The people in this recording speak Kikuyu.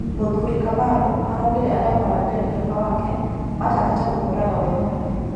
Muthũrĩ Kamarũ araũgire arĩa moragĩre dereba wake matanyĩte kũmũraga wee mwene